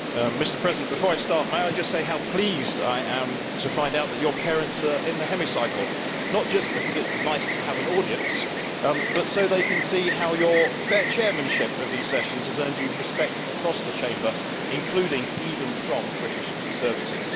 Mr President, before I start, may I say how pleased I am to find out that your parents are in the Chamber, not just because it is nice to have an audience, but so they can see how your fair chairmanship of these sittings has earned you respect across the Chamber, including even from British Conservatives.